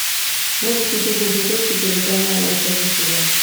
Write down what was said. можешь включить на смотрешке телеканал нтв сериал